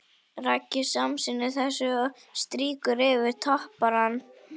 Raggi samsinnir þessu og strýkur yfir topparann.